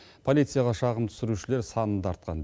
полицияға шағым түсірушілер саны да артқан